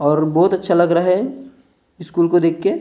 और बहुत अच्छा लग रहा है स्कूल को देख के--